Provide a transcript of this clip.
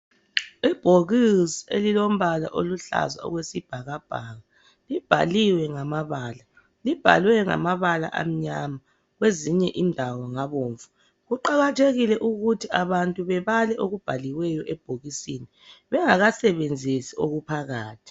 Ibhokisi elilombala oluhlaza okwesibhakabhaka. Libhaliwe ngambala, libhalwe ngamabala amnyama kwezinye indawo ngabomvu. Kuqakathekile ukuthi abantu bebale okubhaliweyo ebhokisini bengakasebenzisi okuphakathi.